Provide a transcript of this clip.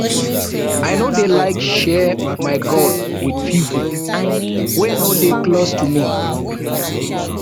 i no dey like share my goal wit pipo wey no dey close to me